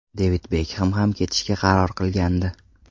Devid Bekhem ham ketishga qaror qilgandi.